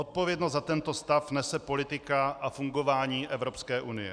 Odpovědnost za tento stav nese politika a fungování Evropské unie.